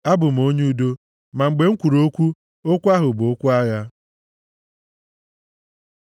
Abụ m onye udo; ma mgbe m kwuru okwu, okwu ha bụ okwu agha.